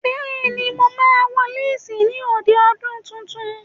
Bẹ́ẹ̀ ni, mo máa wọ léésì ní òde ọdún tuntun.